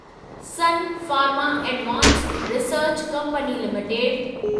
sun Pharma Advanced Research Company limited